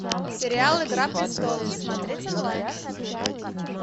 сериал игра престолов смотреть онлайн